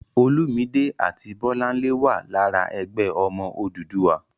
Olúmidé àti Bọ́láńlé wà lára "Ẹgbẹ́ Ọmọ Odùduwà."